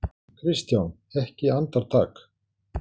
KRISTJÁN: Ekki andartak?